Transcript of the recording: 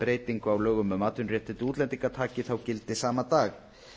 breytingu á lögum um atvinnuréttindi útlendinga taki þá gildi sama dag